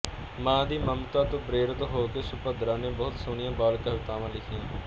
ਮਾਂ ਦੀ ਮਮਤਾ ਤੋਂ ਪ੍ਰੇਰਿਤ ਹੋ ਕੇ ਸੁਭੱਦਰਾ ਨੇ ਬਹੁਤ ਸੋਹਣੀਆਂ ਬਾਲ ਕਵਿਤਾਵਾਂ ਲਿਖੀਆਂ